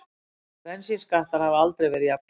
Bensínskattar hafa aldrei verið jafnháir